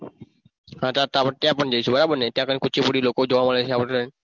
હા ત્યાં પણ જઈશું બરાબર ને ત્યાં પણ કુચીપુડી લોકો જોવા મળે છે આપણ ને